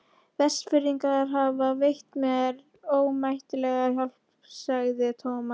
Vestfirðingar hafa veitt mér ómetanlega hjálp sagði Thomas.